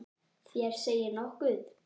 Þér segið nokkuð!